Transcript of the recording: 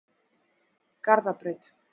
Garðabraut